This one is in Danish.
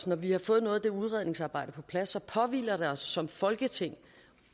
når vi har fået noget af det udredningsarbejde på plads påhviler os som folketing